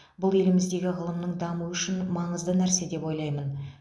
бұл еліміздегі ғылымның дамуы үшін маңызды нәрсе деп ойлаймын